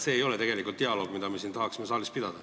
See ei ole tegelikult dialoog, mida me siin saalis tahaksime pidada.